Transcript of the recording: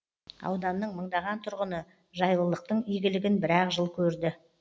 ауданның мыңдаған тұрғыны жайлылықтың игілігін бір ақ жыл көрді